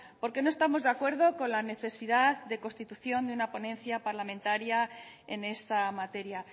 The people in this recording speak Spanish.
porque no estamos de acuerdo con la necesidad de constitución de una ponencia parlamentaria en esta materia